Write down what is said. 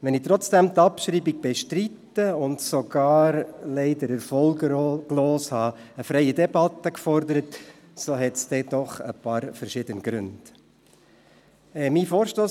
Wenn ich die Abschreibung trotzdem bestreite und sogar leider erfolglos eine freie Debatte gefordert habe, so gibt es doch ein paar verschiedene Gründe dafür.